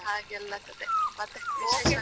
ಹಾಗೆಲ್ಲ ಕತೆ, ಮತ್ತೆ ವಿಶೇಷ.